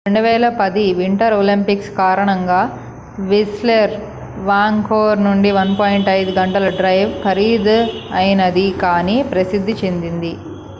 2010 winter Olympics కారణంగా Whistler Vancouver నుండి 1.5 గంటల డ్రైవ్ ఖరీదైనది కాని ప్రసిద్ధి చెందింది